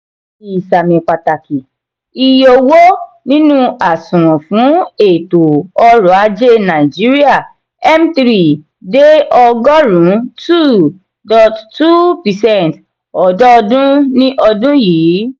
ìsàmì pàtàkì: iye owó nínú àsùnwòn fún ètò orò-ajé nàìjíríà (m three ) dé ọgọrùn two point two percent ọdọọdún di ọdún yìí.